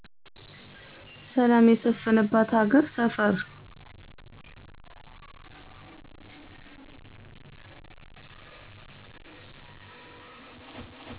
ሰላም የሰፈነባት ሀገር ሰፈር